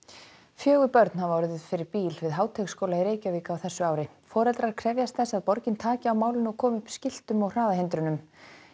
fjögur börn hafa orðið fyrir bíl við Háteigsskóla í Reykjavík á þessu ári foreldrar krefjast þess að borgin taki á málinu og komi upp skiltum og hraðahindrunum